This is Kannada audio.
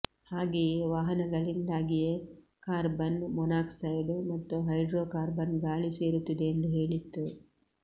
ಹಾಗೆಯೇ ವಾಹನಗಳಿಂದಾಗಿಯೇ ಕಾರ್ಬನ್ ಮೋನಾಕ್ಸೈಡ್ ಮತ್ತು ಹೈಡ್ರೋಕಾರ್ಬನ್ ಗಾಳಿ ಸೇರುತ್ತಿದೆ ಎಂದು ಹೇಳಿತ್ತು